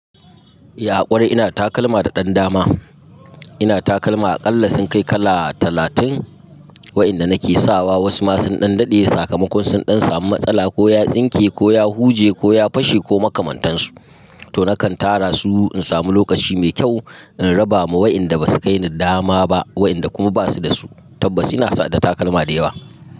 Ya kwarai ina takalma da ɗan dama, ina takalma aƙalla sun kai kala talatin wa inda nake sawa wasu masu ɗan daɗe sakamakon sun ɗan samu matsala ko ya tsinke ko ya huje ko ya fashe ko makamantansu. To nakan tara su in samu lokaci mai kyau in raba ma waɗanda ba su kai ni dama ba waɗanda kuma ba su da su. Tabbas ina saka takalma da yawa.